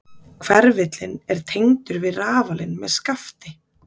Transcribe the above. Hverfillinn er tengdur við rafalinn með skafti.